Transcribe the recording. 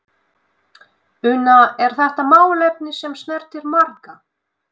Una, er þetta málefni sem snertir marga?